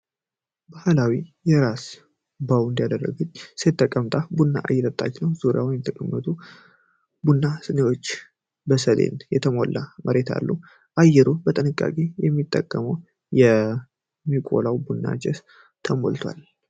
ባህላዊ የራስ ባወንድ ያደረገች ሴት ተቀምጣ ቡና እየቆላች ነው። ዙሪያዋን የተቀመጡ ቡና ስኒዎች እና በሰሌን የተሞላ መሬት አሉ። አየሩ በጥንቃቄ ከሚጠበቀው ከሚቆላው ቡና ጭስ ተሞልቷል።